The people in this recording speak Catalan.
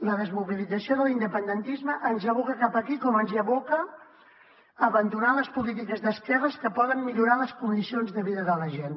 la desmobilització de l’independentisme ens aboca cap aquí com ens hi aboca abandonar les polítiques d’esquerres que poden millorar les condicions de vida de la gent